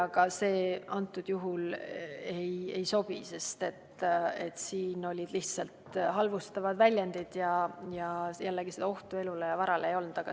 Aga see antud juhul ei sobi, sest siin oli tegemist lihtsalt halvustavate väljenditega ning ohtu elule ja varale ei olnud.